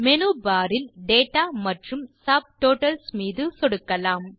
menu bar இல் data மற்றும் subtotals மீது சொடுக்கலாம்